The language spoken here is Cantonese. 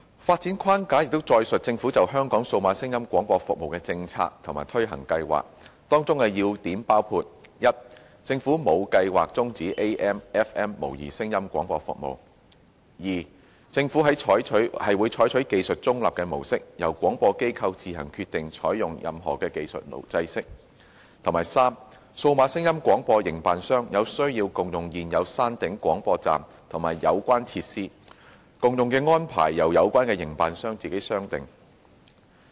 發展框架載述政府就香港數碼廣播服務的政策及推行計劃，當中要點包括： 1政府沒有計劃終止 AM/FM 模擬聲音廣播服務； 2政府會採取技術中立的模式，由廣播機構自行決定採用任何技術制式；及3數碼廣播營辦商有需要共用現有山頂廣播站和有關設施，共用安排由有關營辦商自行商定。